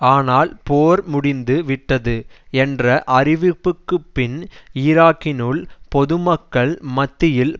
ஆனால் போர் முடிந்து விட்டது என்ற அறிவிப்புக்குப்பின் ஈராக்கினுள் பொதுமக்கள் மத்தியில்